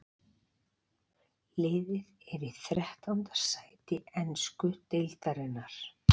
Liðið er í þrettánda sæti ensku deildarinnar.